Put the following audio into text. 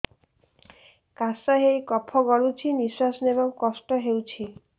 କାଶ ହେଇ କଫ ଗଳୁଛି ନିଶ୍ୱାସ ନେବାକୁ କଷ୍ଟ ହଉଛି